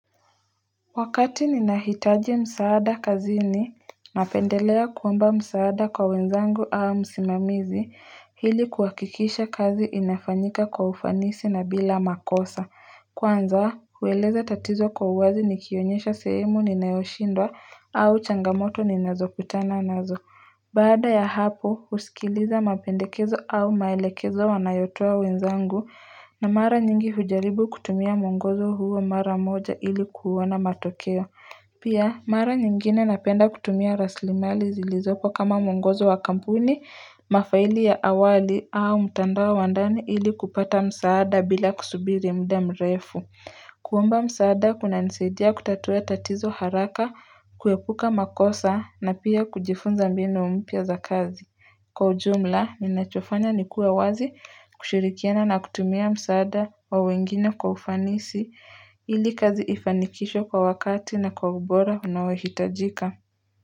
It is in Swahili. Wakati ninahitaji msaada kazini napendelea kuomba msaada kwa wenzangu au msimamizi hili kuwakikisha kazi inafanyika kwa ufanisi na bila makosa kwanza huweleza tatizo kwa uwazi nikionyesha sehemu ni nayoshindwa au changamoto ni nazo kutana nazo Baada ya hapo usikiliza mapendekezo au maelekezo wanayotoa wenzangu na mara nyingi hujaribu kutumia mwongozo huo mara moja ili kuona matokeo Pia mara nyingine napenda kutumia raslimali zilizopa kama mwongozo wa kampuni, mafaili ya awali au mtandao wa wandani ili kupata msaada bila kusubiri mda mrefu kuomba msaada kuna nisaidia kutatua tatizo haraka kuepuka makosa na pia kujifunza mbinu mpya za kazi Kwa ujumla ninachofanya nikuwa wazi kushirikiana na kutumia msaada wa wengine kwa ufanisi ili kazi ifanikisho kwa wakati na kwa ubora unaohitajika.